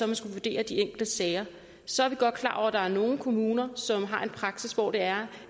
man skal vurdere de enkelte sager så er vi godt klar over at der er nogle kommuner som har en praksis hvor det er